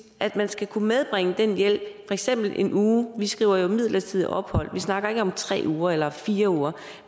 at man skal kunne medbringe den hjælp for eksempel i en uge vi skriver jo midlertidigt ophold vi snakker ikke om tre uger eller fire uger